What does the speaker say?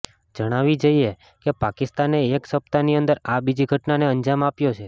જણાવી જઇએ કે પાકિસ્તાને એક સપ્તાહની અંદર આ બીજી ઘટનાને અંજામ આપ્યો છે